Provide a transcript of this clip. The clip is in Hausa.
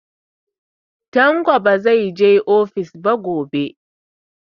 Tanko ba zai tafi ofis gobe ba.